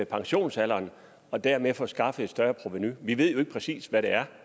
pensionsalderen og dermed får skaffet et større provenu vi ved jo ikke præcis hvad det er